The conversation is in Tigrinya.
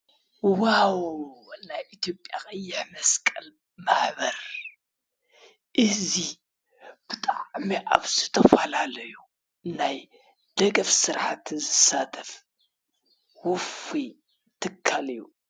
ዋዉ ናይ ኢትዮጲያ ቀይሕ መስቀል ማህበር እዚ ብጣዕሚ ኣብ ዝተፈላለዩ ናይ ደገፍ ስራሕቲ ዝሳተፍ ዉፉይ ትካል እዩ ።